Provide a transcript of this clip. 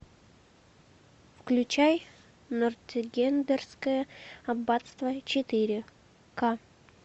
включай нортенгерское аббатство четыре ка